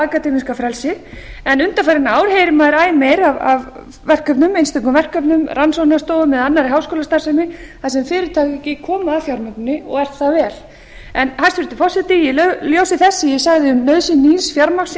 akademíska frelsi en undanfarin ár heyrum við æ meir af einstökum verkefnum rannsóknastofu með annarri háskólastarfsemi þar sem fyrirtæki koma að fjármögnuninni og er það vel en hæstvirtur forseti í ljósi þess sem ég sagði um nauðsyn nýs fjármagns